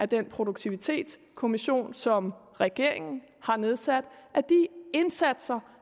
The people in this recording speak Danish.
den produktivitetskommission som regeringen har nedsat af de indsatser